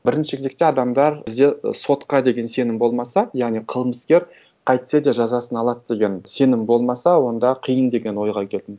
бірінші кезекте адамдар бізде і сотқа деген сенім болмаса яғни қылмыскер қайтсе де жазасын алады деген сенім болмаса онда қиын деген ойға келдім